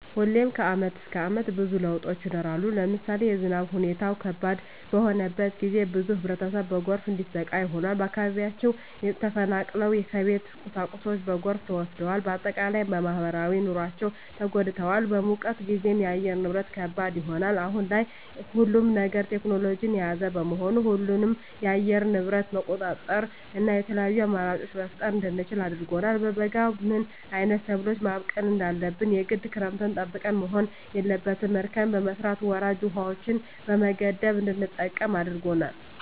ሁሌም ከአመት እስከ አመት ብዙ ለውጦች ይኖራሉ። ለምሳሌ የዝናብ ሁኔታው ከባድ በሆነበት ጊዜ ብዙ ህብረተሰብ በጎርፍ እንዲሰቃይ ሆኗል። ከአካባቢያቸው ተፈናቅለዋል የቤት ቁሳቁሳቸው በጎርፍ ተወስዷል። በአጠቃላይ በማህበራዊ ኑሯቸው ተጎድተዋል። በሙቀት ጊዜም የአየር ንብረት ከባድ ይሆናል። አሁን ላይ ሁሉም ነገር ቴክኖሎጅን የያዘ በመሆኑ ሁሉንም የአየር ንብረት መቆጣጠር እና የተለያዪ አማራጮች መፍጠር እንድንችል አድርጎናል። በበጋ ምን አይነት ሰብሎችን ማብቀል እንዳለብን የግድ ክረምትን ጠብቀን መሆን የለበትም እርከን በመስራት ወራጅ ውሀዎችን በመገደብ እንድንጠቀም አድርጎናል።